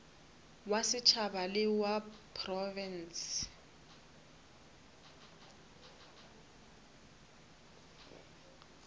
wa setšhaba le wa profense